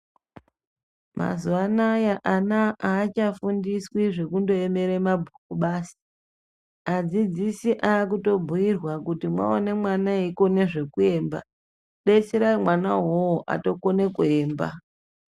Mazuwa anaya ana aachafundiswi zvekundoemere nemabhuku basi adzidzisi akutobhuirwa kuti mwaone mwana eikone zvekuemba betserai mwana uwowo otokone kuemba.